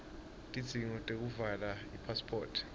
tidzingo tekuvala ipasiphoti